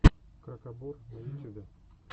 крабокор на ютюбе